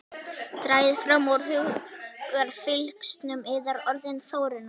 Dragið fram úr hugarfylgsnum yðar orðin Þórunnar.